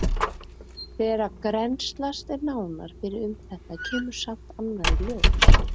Þegar grennslast er nánar fyrir um þetta kemur samt annað í ljós.